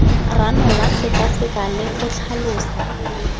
ranola sekaseka le go tlhalosa